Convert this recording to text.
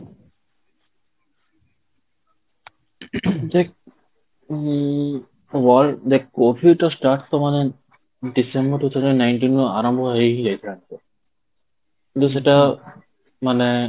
ଉଁ world ଦେଖ COVID ର start ତ ମାନେ december two thousand nineteen ରୁ ଆରମ୍ଭ ହେଇ ହି ଯାଇଥିଲା, କିନ୍ତୁ ସେଟା ମାନେ